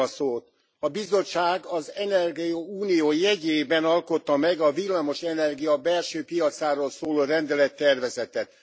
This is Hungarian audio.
A Bizottság az energiaunió jegyében alkotta meg a villamos energia belső piacáról szóló rendelettervezetet.